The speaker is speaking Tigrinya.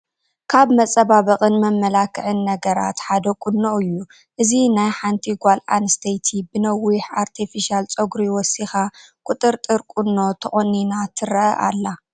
ካብ መፀባበቕን መመላኽዕን ነገራት ሓደ ቁኖ እዩ፡፡ እዚ ናይ ሓንቲ ጓል ኣነስተይቲ ብነዊሕ ኣርቴፊሻል ፀጉሪ ወሲኻ ቁጥርጥር ቁኖ ተቆኒና ትረአ ኣላ